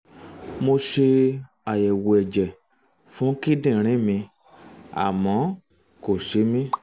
um mo ṣe um àyẹ̀wò ẹ̀jẹ̀ fún kíndìnrín mi àmọ́ um kò ṣe mí